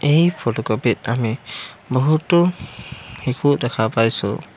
এই ফটোকপি ত আমি বহুতো শিশু দেখা পাইছোঁ।